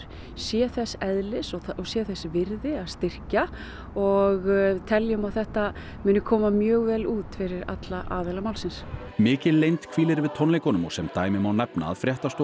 sé þess eðlis og sé þess virði að styrkja og teljum að þetta muni koma mjög vel út fyrir alla aðila málsins mikil leynd hvílir yfir tónleikunum og sem dæmi má nefna að fréttastofa